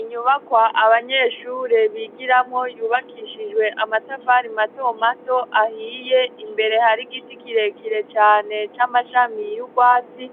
Inyubakwa abanyeshure bigiramwo yubakishijwe amatafari mato mato ahiye imbere hari igiti kirekire cane c'amashami y'ubwatsi